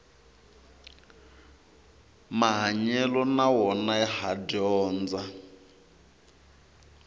mahanyelo na wona ha dyondza